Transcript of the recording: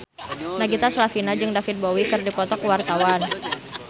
Nagita Slavina jeung David Bowie keur dipoto ku wartawan